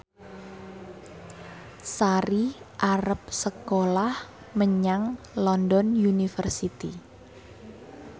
Sari arep sekolah menyang London University